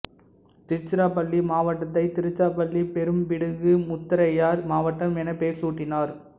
திருச்சிராப்பள்ளி மாவட்டத்தை திருச்சிராப்பள்ளி பெரும்பிடுகு முத்தரையர் மாவட்டம் என பெயர் சூட்டினார்